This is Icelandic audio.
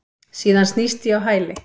Síðan snýst ég á hæli.